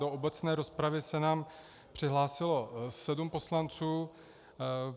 Do obecné rozpravy se nám přihlásilo sedm poslanců.